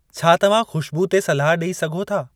छा तव्हां खू़श्बूइ ते सलाह ॾेई सघो था?